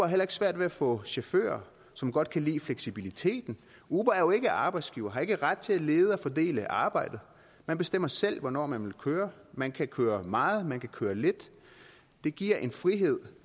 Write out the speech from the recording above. heller ikke svært ved at få chauffører som godt kan lide fleksibiliteten uber er jo ikke arbejdsgiver og har ikke ret til at lede og fordele arbejdet man bestemmer selv hvornår man vil køre man kan køre meget man kan køre lidt det giver en frihed